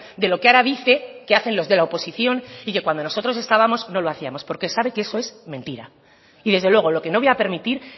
de lo que ahora dice que hacen los de la oposición y que cuando nosotros estábamos no lo hacíamos porque sabe que eso es mentira y desde luego lo que no voy a permitir